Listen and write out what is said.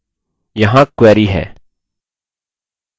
यहाँ query है: